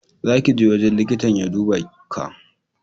Za ki je wajen liƙitan ya duba Ka!